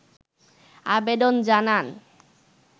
আবেদন জানান